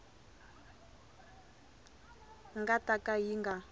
nga ta ka yi nga